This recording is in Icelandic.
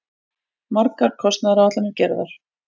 Margar kostnaðaráætlanir gerðar.